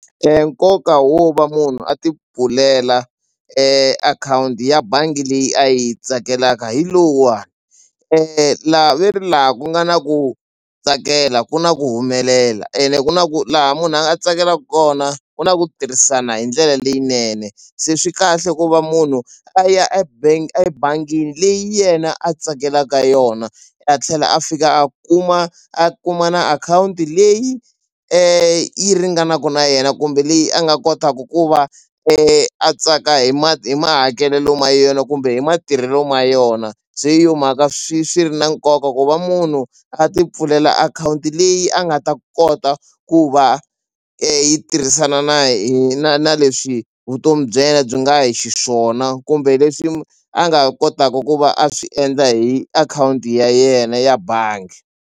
Nkoka wo va munhu a ti pfulela akhawunti ya bangi leyi a yi tsakelaka hi lowuwani la veri laha ku nga na ku tsakela ku na ku humelela ene ku na ku laha munhu a nga tsakelaku kona ku na ku tirhisana hi ndlela leyinene se swi kahle ku va munhu a ya ebank ebangini leyi yena a tsakelaka yona a tlhela a fika a kuma a kuma na akhawunti leyi yi ringanaku na yena kumbe leyi a nga kotaku ku va a tsaka hi hi mahakelelo ma yona kumbe hi matirhelo ma yona se hi yona mhaka swi swi ri na nkoka ku va munhu a ti pfulela akhawunti leyi a nga ta kota ku va yi tirhisana na na na leswi vutomi bya yena byi nga hi xiswona kumbe leswi a nga kotaku ku va a swi endla hi akhawunti ya yena ya bangi.